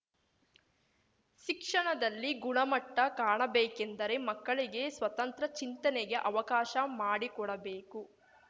ಶಿಕ್ಷಣದಲ್ಲಿ ಗುಣಮಟ್ಟ ಕಾಣಬೇಕೆಂದರೆ ಮಕ್ಕಳಿಗೆ ಸ್ವತಂತ್ರ ಚಿಂತನೆಗೆ ಅವಕಾಶ ಮಾಡಿಕೊಡಬೇಕು